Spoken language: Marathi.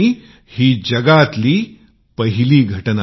ही जगभरातील पहिलीच घटना असेल